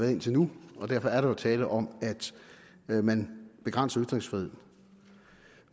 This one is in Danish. indtil nu og derfor er der jo tale om at man begrænser ytringsfriheden